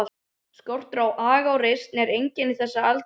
Skortur á aga og reisn er einkenni þessa aldurshóps.